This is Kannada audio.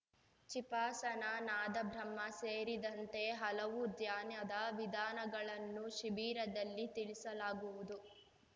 ಚಿಪಾಸನಾ ನಾದಬ್ರಹ್ಮ ಸೇರಿದಂತೆ ಹಲವು ಧ್ಯಾನದ ವಿಧಾನಗಳನ್ನು ಶಿಬಿರದಲ್ಲಿ ತಿಳಿಸಲಾಗುವುದು